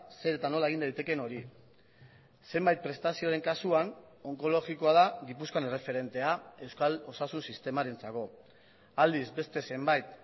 zer eta nola egin daitekeen hori zenbait prestazioren kasuan onkologikoa da gipuzkoan erreferentea euskal osasun sistemarentzako aldiz beste zenbait